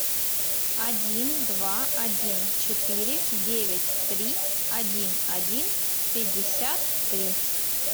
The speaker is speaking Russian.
один два один четыре девять три один один пятьдесят три